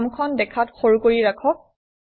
ফৰ্মখন দেখাত সৰু কৰি ৰাখক